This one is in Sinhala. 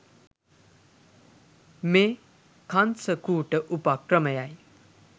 මේ කංස කූට උපක්‍රමයයි.